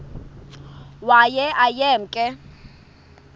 waye aye emke